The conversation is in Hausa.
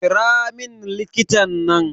Kiramin likitan nan